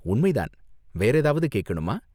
உண்மை தான், வேற ஏதாவது கேக்கணுமா?